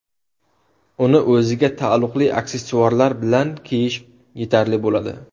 Uni o‘ziga taalluqli aksessuarlar bilan kiyish yetarli bo‘ladi.